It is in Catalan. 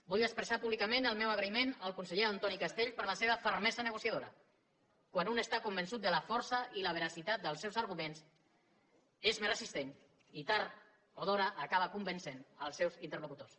vull expressar públicament el meu agraïment al conseller antoni castells per la seva fermesa negociadora quan un està convençut de la força i la veracitat dels seus arguments és més resistent i tard o d’hora acaba convencent els seus interlocutors